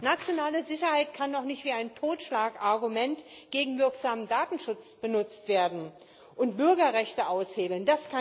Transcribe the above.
Nationale Sicherheit kann doch nicht wie ein Totschlagargument gegen wirksamen Datenschutz benutzt werden und Bürgerrechte aushebeln.